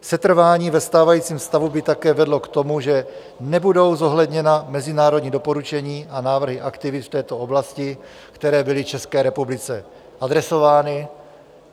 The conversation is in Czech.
Setrvání ve stávajícím stavu by také vedlo k tomu, že nebudou zohledněna mezinárodní doporučení a návrhy aktivit v této oblasti, které byly České republice adresovány.